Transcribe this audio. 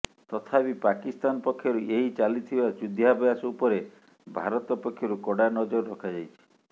ତଥାପି ପାକିସ୍ତାନ ପକ୍ଷରୁ ଏହି ଚାଲିଥିବା ଯୁଦ୍ଧାଭ୍ୟାସ ଉପରେ ଭାରତ ପକ୍ଷରୁ କଡା ନଜର ରଖାଯାଇଛି